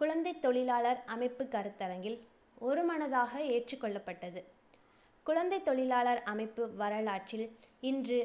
குழந்தைத் தொழிலாளர் அமைப்பு கருத்தரங்கில் ஒருமனதாக ஏற்றுக்கொள்ளப்பட்டது. குழந்தைத் தொழிலாளர் அமைப்பு வரலாற்றில், இன்று